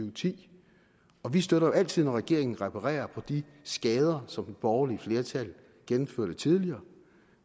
og ti vi støtter jo altid når regeringen reparerer på de skader som det borgerlige flertal gennemførte tidligere